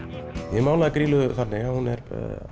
ég málaði Grýlu þannig að hún er